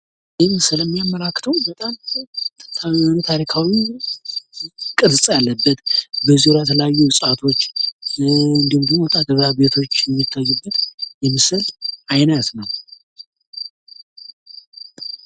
ይህ ምስል የሚያመላክተው በጣም ታሪካዊ ቅርፅ ያለበት በዙርያው የተለያዩ እፅዋቶች እንዲሁም ደሞ ወጣ ገባ ቤቶች የሚታዩበት የምስል አይነት ነው።